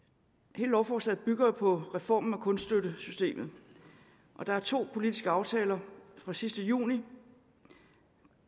hele lovforslaget bygger jo på reformen af kunststøttesystemet og der er to politiske aftaler fra sidste juni